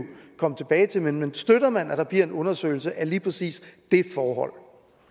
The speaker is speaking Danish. komme tilbage til men støtter man at der bliver en undersøgelse af lige præcis det forhold